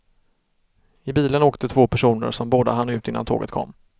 I bilen åkte två personer som båda hann ut innan tåget kom.